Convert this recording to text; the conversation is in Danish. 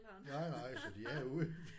Nej nej så de er ude